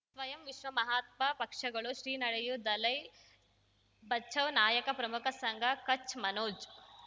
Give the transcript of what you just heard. ಸ್ವಯಂ ವಿಶ್ವ ಮಹಾತ್ಮ ಪಕ್ಷಗಳು ಶ್ರೀ ನಡೆಯೂ ದಲೈ ಬಚೌ ನಾಯಕ ಪ್ರಮುಖ ಸಂಘ ಕಚ್ ಮನೋಜ್